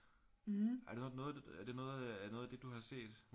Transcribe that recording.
Er det noget er det noget af det du har set